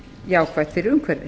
jákvætt fyrir umhverfið